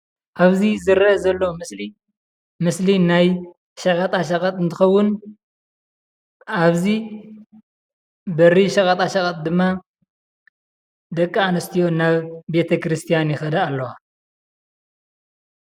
ኣብዚ ዝርአ ዘሎ ምስሊ ምስሊ ናይ ሸቐጣሸቐጥ እንትኸዉን ኣብዚ በሪ ሸቐጣሸቐጥ ድማ ደቂ ኣንስትዮ ናብ ቤተክርስትያን ይኸዳ ኣለዋ።